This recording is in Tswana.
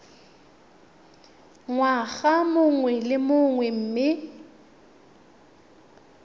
ngwaga mongwe le mongwe mme